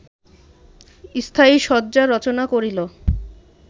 স্থায়ী শয্যা রচনা করিল